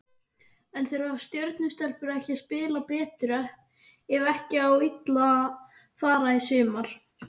En þurfa Stjörnu stelpur ekki að spila betur ef ekki á illa fara í sumar?